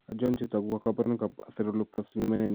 Achon chetogu ak kaborunoik ab Aceruloplasminemia?